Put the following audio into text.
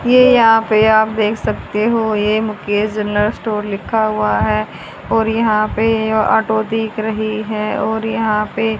ये यहां पे आप देख सकते हो ये मुकेश जनरल स्टोर लिखा हुआ है और यहां पे ऑटो दिख रहा है और यहां पे --